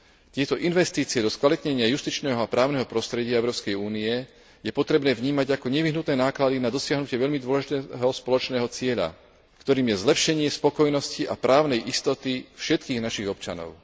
Tieto investície do skvalitnenia justičného a právneho prostredia Európskej únie je potrebné vnímať ako nevyhnutné náklady na dosiahnutie veľmi dôležitého spoločného cieľa, ktorým je zlepšenie spokojnosti a právnej istoty všetkých našich občanov.